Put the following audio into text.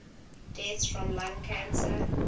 deaths from lung cancer